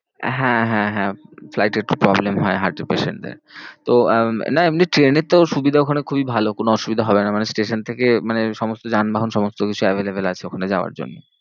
হ্যাঁ হ্যাঁ হ্যাঁ flight এ একটু problem হয় heart এর patient দের তো আহ না এমনি ট্রেনেতেও সুবিধা ওখানে খুবই ভালো কোনো অসুবিধা হবে না। মানে station থেকে মানে সমস্ত যানবাহন সমস্ত কিছু available আছে ওখানে যাওয়ার জন্য।